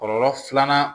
Kɔlɔlɔ filanan